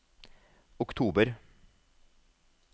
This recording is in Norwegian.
oktober